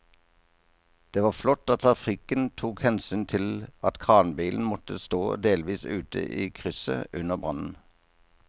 Det var flott at trafikken tok hensyn til at kranbilen måtte stå delvis ute i krysset under brannen.